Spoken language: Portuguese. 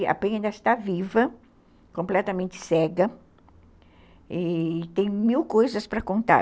A Penha ainda está viva, completamente cega, e tem mil coisas para contar.